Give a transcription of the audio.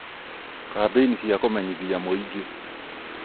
kambĩinĩ cia kũmenyithia mũingĩ